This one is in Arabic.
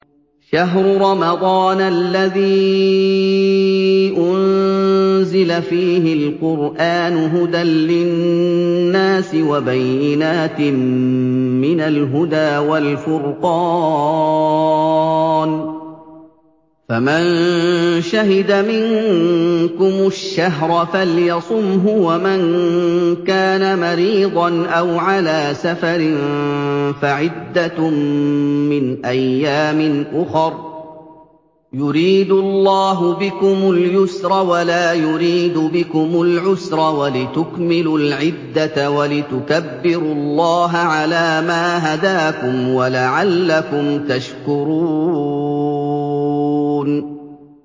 شَهْرُ رَمَضَانَ الَّذِي أُنزِلَ فِيهِ الْقُرْآنُ هُدًى لِّلنَّاسِ وَبَيِّنَاتٍ مِّنَ الْهُدَىٰ وَالْفُرْقَانِ ۚ فَمَن شَهِدَ مِنكُمُ الشَّهْرَ فَلْيَصُمْهُ ۖ وَمَن كَانَ مَرِيضًا أَوْ عَلَىٰ سَفَرٍ فَعِدَّةٌ مِّنْ أَيَّامٍ أُخَرَ ۗ يُرِيدُ اللَّهُ بِكُمُ الْيُسْرَ وَلَا يُرِيدُ بِكُمُ الْعُسْرَ وَلِتُكْمِلُوا الْعِدَّةَ وَلِتُكَبِّرُوا اللَّهَ عَلَىٰ مَا هَدَاكُمْ وَلَعَلَّكُمْ تَشْكُرُونَ